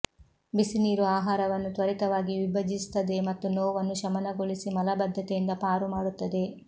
ಬಿಸಿನೀರು ಆಹಾರವನ್ನು ತ್ವರಿತವಾಗಿ ವಿಭಜಿಸುತ್ತದೆ ಮತ್ತು ನೋವನ್ನು ಶಮನಗೊಳಿಸಿ ಮಲಬದ್ಧತೆಯಿಂದ ಪಾರು ಮಾಡುತ್ತದೆ